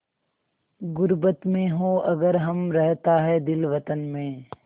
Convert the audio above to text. ग़ुर्बत में हों अगर हम रहता है दिल वतन में